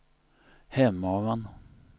Hemavan